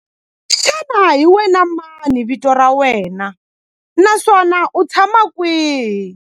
Xana hi wena mani vito ra wena naswona u tshama kwihi?